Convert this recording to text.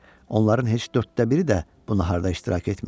Onların heç dörddə biri də bu naharda iştirak etmirdi.